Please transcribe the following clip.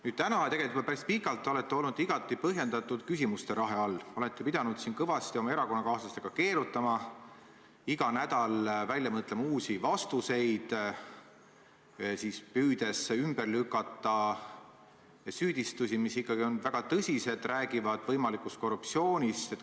Nüüd, täna – ja tegelikult juba päris pikalt – olete olnud igati põhjendatud küsimuste rahe all, olete pidanud siin kõvasti oma erakonnakaaslastega keerutama, iga nädal välja mõtlema uusi vastuseid, püüdes ümber lükata süüdistusi, mis on ikkagi väga tõsised ja räägivad võimalikust korruptsioonist.